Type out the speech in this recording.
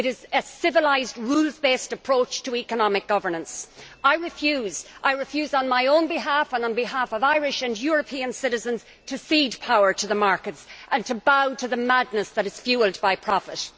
It is a civilised, rules based approach to economic governance. I refuse, I refuse on my own behalf and on behalf of Irish and European citizens, to cede power to the markets and to bow to the madness that is fuelled by profit.